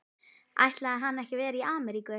Ætlaði hann ekki að vera ár í Ameríku?